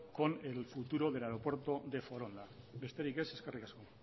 con el futuro del aeropuerto de foronda besterik ez eskerrik asko